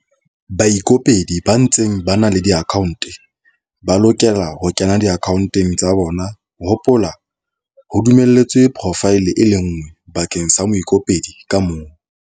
Baikopedi ba ntseng ba na le diakhaonte ba lokela ho kena diakhaonteng tsa bona - hopola, ho dumelletswe porofaele e le nngwe bakeng sa moikopedi ka mong.